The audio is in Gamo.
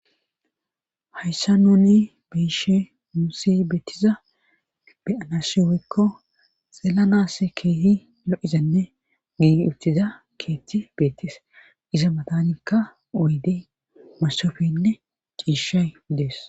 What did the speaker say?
Hayssa nuuni beishe muussi beettiza beyanashi weykko xeelanass keehi lo'izenne giigi uttiza keetti beettees iza matanikka uyde masofenne ciishay dees.